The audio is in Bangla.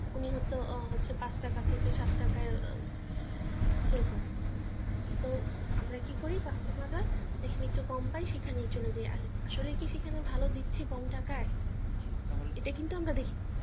উনি হচ্ছে হয়তো পাঁচ টাকা থেকে সাত টাকায় sale করে তো আমরা কি করি customer রা যেখানে একটু কম পাই সেখানেই চলে যাই আর আসলে কি সেখানে ভালো দিচ্ছে কম টাকায় এটা কিন্তু আমরা দেখি না